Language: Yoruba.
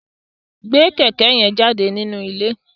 Gbé kẹ̀kẹ́ yẹn jáde nínú ilé!